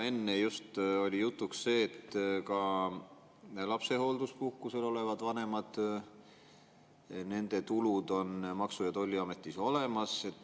Enne just oli jutuks, et ka lapsehoolduspuhkusel olevate vanemate tulude kohta on Maksu‑ ja Tolliametis olemas.